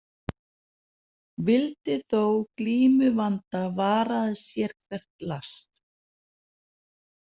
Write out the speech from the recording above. Vildi þó glímu vanda varaðist sérhvert last.